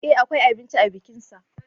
E akwai abinci a bikinsa.